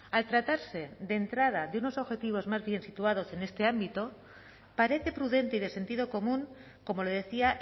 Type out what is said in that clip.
al tratarse de entrada de unos objetivos más bien situados en este ámbito parece prudente y de sentido común como le decía